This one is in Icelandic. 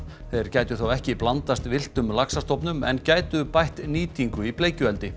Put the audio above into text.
þeir gætu þá ekki blandast villtum laxastofnum en gætu bætt nýtingu í bleikjueldi